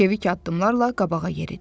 Çevik addımlarla qabağa yeridi.